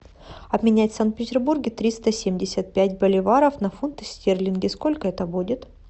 обменять в санкт петербурге триста семьдесят пять боливаров на фунты стерлинги сколько это будет